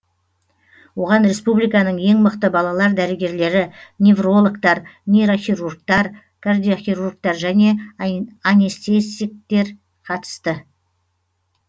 оған республиканың ең мықты балалар дәрігерлері неврологтар нейрохирургтар кардиохирургтар және анестетиктер қатысты